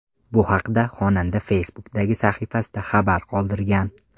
Bu haqda xonanda Facebook’dagi sahifasida xabar qoldirgan.